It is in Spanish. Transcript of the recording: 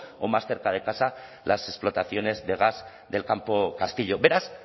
o más cerca de casa las explotaciones de gas del campo castillo beraz